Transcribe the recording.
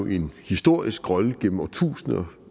en historisk rolle gennem årtusinder